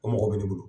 O mɔgɔ bɛ ne bolo